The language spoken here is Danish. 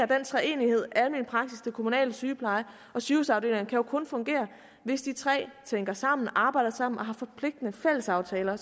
den treenighed almen praksis den kommunale sygepleje og sygehusafdelingerne kan jo kun fungere hvis de tre tænker sammen arbejder sammen og har forpligtende fællesaftaler